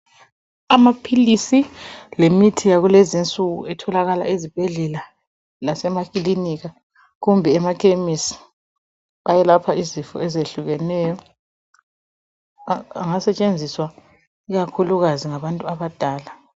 Amaphilisi lemithi yakulezinsuku etholakala ezibhedlela lasemakilinika kumbe emakhemisi ayelapha izifo ezehlukeneyo angasetshenziswa ikakhulukazi ngabantu abadala.